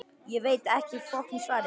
Ég veit ekki svarið.